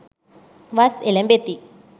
වස් එළැඹෙති.